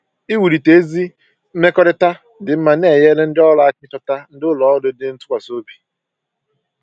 Iwulite ezi mmekọrịta dị mma na-enyere ndị ọrụ aka ịchọta ndị ụlọ ọrụ dị ntụkwasịobi